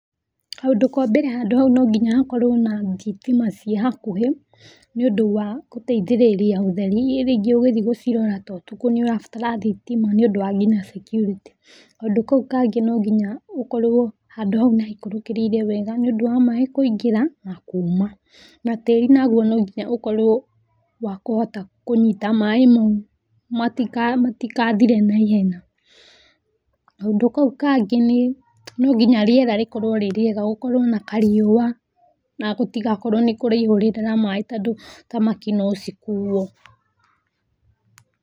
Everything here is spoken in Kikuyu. Kaũndũ ka mbere handu hau no nginya hakorwo na thitima ciĩ hakuhĩ niũndũ wa gũteithĩrĩria ũtheri rĩngĩ ũgĩthi gũcirora ta ũtukũ rĩngĩ nĩũrabatara thitima nĩũndũ nginya wa securitĩ. Kaũndũ kau kangĩ no nginya ũkorwo handũ hau nĩ haikũrũkĩrĩire wega nĩũndũ wa maaĩ kũingira na kuma na tĩri naguo no nginya ũkorwo wa kũhota kũnyita maaĩ mau matigathire na ihenya. Kaũndũ kau kangĩ nĩ no nginya rĩera rĩkorwo rĩrĩrĩega gũkorwo na kariũwa na gũtigakorwo nĩ kũraihũrĩrĩra maaĩ tondũ thamaki no cikuo.